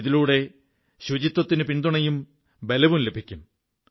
ഇതിലൂടെ ശുചിത്വത്തിന് പിന്തുണയും ബലവും ലഭിക്കും